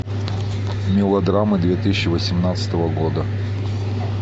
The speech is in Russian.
мелодрамы две тысячи восемнадцатого года